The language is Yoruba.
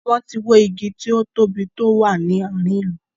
Wọn tí wó igi tí ó tóbi tó wà ní àárín ìlú.